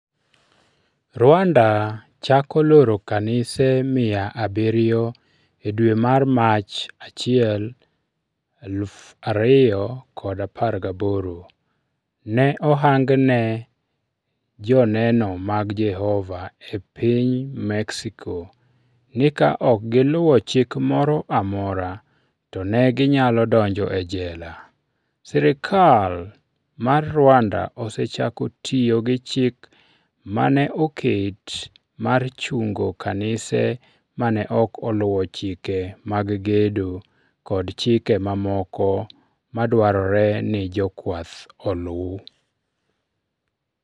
Rwanda chako loro kanise mia abirio E dwe mar Mach 1, 2018, ne ohang ne Joneno mag Jehova e piny Mexico ni ka ok giluwo chik moro amora, to ne ginyalo donjo e jela. Sirkal mar Rwanda osechako tiyo gi chik ma ne oket mar chungo kanise ma ne ok oluwo chike mag gedo kod chike mamoko madwarore ni jokwath oluw.